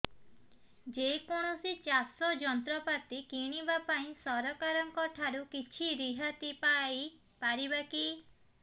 ଯେ କୌଣସି ଚାଷ ଯନ୍ତ୍ରପାତି କିଣିବା ପାଇଁ ସରକାରଙ୍କ ଠାରୁ କିଛି ରିହାତି ପାଇ ପାରିବା କି